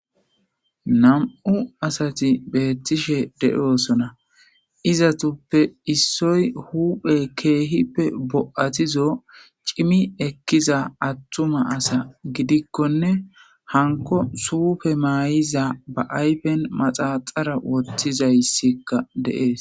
Nam'u asati betishe de'osona izatuppe issoy huuphe keehippe bo'atizo c'imi ekkiza attuma asa gidikkonne hanko suufe maayiza ba ayfen maxaxara wottizayssikka de'es